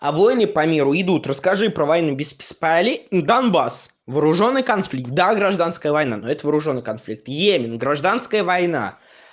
а войны по миру идут расскажи про войну без полей донбасс вооружённый конфликт гражданская война но это вооружённый конфликт йемен гражданская война